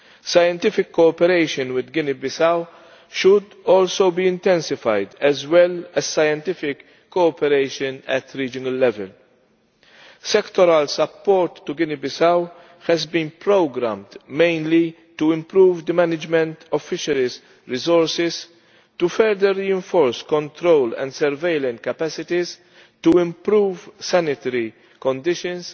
Scientific cooperation with Guinea Bissau should also be intensified, as well as scientific cooperation at regional level. Sectoral support to Guinea Bissau has been programmed mainly to improve the management of fisheries resources, to further reinforce control and surveillance capacities, to improve sanitary conditions